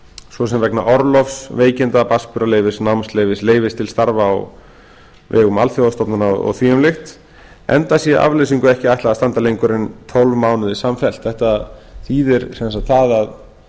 svo sem vegna orlofs veikinda barnsburðarleyfis námsleyfis leyfis til starfa á vegum alþjóðastofnana oþul enda sé afleysingu ekki ætlað að standa lengur en tólf mánuði samfellt þetta þýðir sem sagt það að